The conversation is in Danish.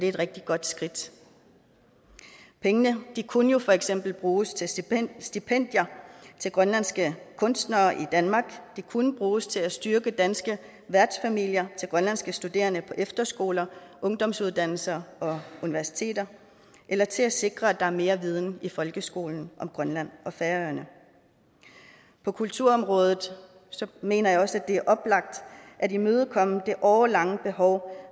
et rigtig godt skridt pengene kunne jo for eksempel bruges til stipendier stipendier til grønlandske kunstnere i danmark de kunne bruges til at styrke danske værtsfamilier til grønlandske studerende på efterskoler ungdomsuddannelser og universiteter eller til at sikre at der er mere viden i folkeskolen om grønland og færøerne på kulturområdet mener jeg også det er oplagt at imødekomme det årelange behov